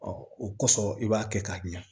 o kosɔn i b'a kɛ k'a ɲa